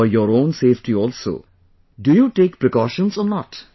But for your own safety also, do you take precautions or not